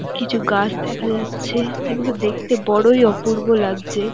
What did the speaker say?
কিছু গাছ দেখা যাচ্ছে যেগুলো দেখতে বড়ই অপূর্ব লাগছে।